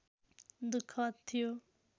दुःखद थियो